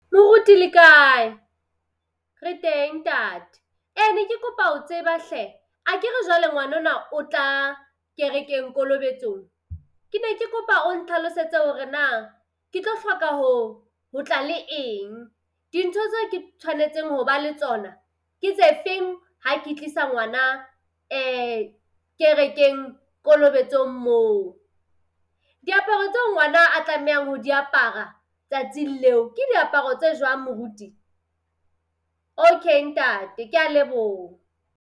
Moruti le kae? Re teng ntate. Ee ne ke kopa ho tseba hle, akere jwale ngwana ona o tla kerekeng kolobetsong, ke ne ke kopa o ntlhalosetse hore na ke tlo hloka ho ho tla le eng. Dintho tse ke tshwanetseng ho ba le tsona ke tse feng ha ke tlisa ngwana kerekeng kolobetsong moo? Diaparo tseo ngwana a tlamehang ho di apara tsatsing leo ke diaparo tse jwang moruti? Okay ntate. Kea leboha.